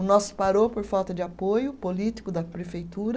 O nosso parou por falta de apoio político da prefeitura.